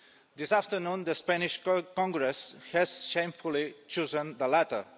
This afternoon, the Spanish Congress has shamefully chosen the latter.